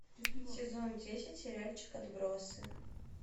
сезон десять сериальчик отбросы